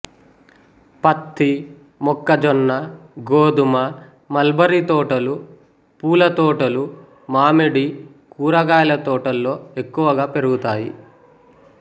పత్తి మొక్కజొన్న గోదుమ మల్బరి తోటలు పూల తోటలు మామిడి కూరగాయల తోటల్లో ఎక్కువగా పెరుగుతాయి